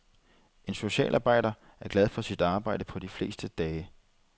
En socialarbejder er glad for sit job på de fleste dage.